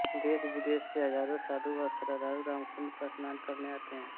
देशविदेश से हजारो साधु व श्रद्धालु रामकुन्ड पर स्नान करने आते हैं